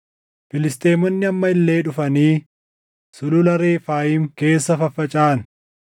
Filisxeemonni amma illee dhufanii Sulula Refaayim keessa faffacaʼan;